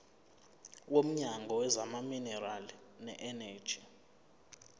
womnyango wezamaminerali neeneji